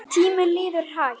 Tíminn líður hægt.